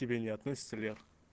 к тебе не относится лер